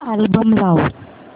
album लाव